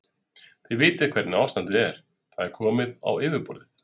Þið vitið hvernig ástandið er, það er komið á yfirborðið.